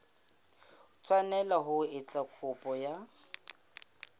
tshwanela ho etsa kopo ya